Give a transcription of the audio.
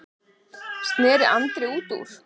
sneri Andri út úr.